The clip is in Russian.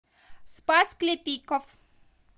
спас клепиков